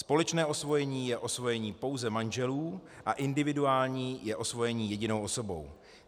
Společné osvojení je osvojení pouze manželů a individuální je osvojení jedinou osobou.